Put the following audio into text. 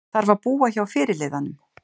Þarf að búa hjá fyrirliðanum